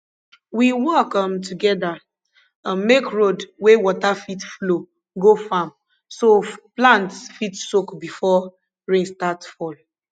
we work um together um make road wey water fit flow go farm so plants fit soak before rain start fall